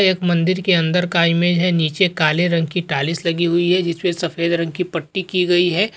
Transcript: एक मंदिर के अंदर का इमेज है नीचे काले रंग की टाइल्स लगी हुई है जिसपे सफ़ेद रंग की पट्टी की गयी है।